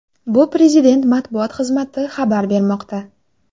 Bu Prezident matbuot xizmati xabar bermoqda .